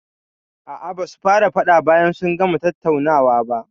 A'a, basu fara faɗa bayan sun gama tattaunawa ba.